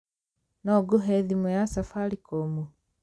No ngũhe thimũ ya safaricom?